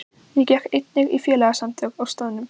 Ég gekk einnig í félagasamtök á staðnum.